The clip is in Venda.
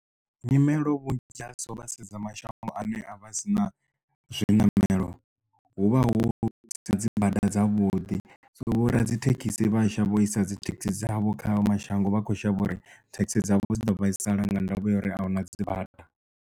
Nyimelo vhunzhi dza so vha sedza mashango ane a vha sina zwiṋamelo hu vha hu sina dzibada dzavhuḓi so vho radzithekhisi vhashavho isa dzithekhisi dzavho kha mashango vha kho shavha uri thekhisi dzavho dzi ḓo vhaisala nga ndavha ya uri ahuna dzibada.